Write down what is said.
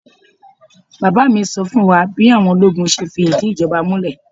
Bàbá mi sọ fún wa bí àwọn ológun ṣe fìdí ìjọba múlẹ̀.